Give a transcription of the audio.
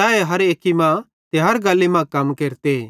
तैए हर एक्की मां ते हर गल्ली मां कम केरते